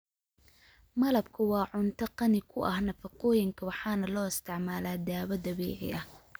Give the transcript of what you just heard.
Malabku waa cunto qani ku ah nafaqooyinka waxaana loo isticmaalaa dawo dabiici ah.